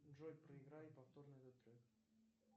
джой проиграй повторно этот трек